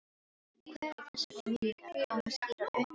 En hve þessar minningar koma skýrar upp í hugann.